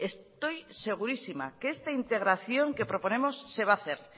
estoy segurísima que esta integración que proponemos se va a hacer